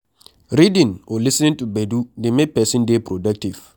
Reading or lis ten ing to gbedu dey make person dey productive